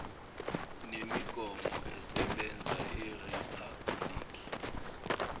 nemigomo esebenza eriphabhuliki